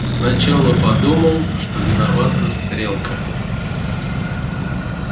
сначала подумал что виновата стрелка